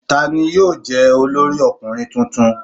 Ta ni yóò jẹ́ olórí ọkùnrin tuntun?